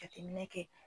Jateminɛ kɛ